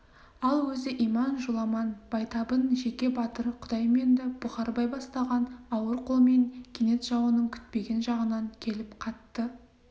ал өзі иман жоламан байтабын жеке батыр құдайменді бұқарбай бастаған ауыр қолмен кенет жауының күтпеген жағынан келіп қатты